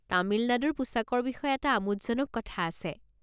তামিল নাডুৰ পোছাকৰ বিষয়ে এটা আমোদজনক কথা আছে।